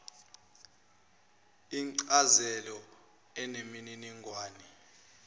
incazelo eneminingwane eyenele